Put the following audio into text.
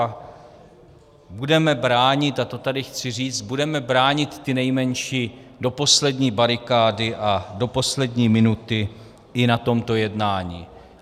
A budeme bránit, a to tady chci říct, budeme bránit ty nejmenší do poslední barikády a do poslední minuty i na tomto jednání.